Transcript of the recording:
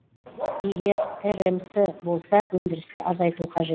егер рмс болса өндірісті азайту қажет